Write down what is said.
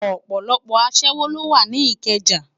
Òpòlòpò aṣèwó ló wá ni Ikeja